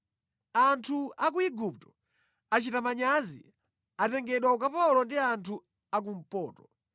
Anthu a ku Igupto achita manyazi atengedwa ukapolo ndi anthu a kumpoto.”